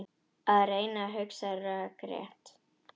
Að reyna að hugsa rökrétt